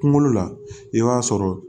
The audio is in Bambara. Kunkolo la i b'a sɔrɔ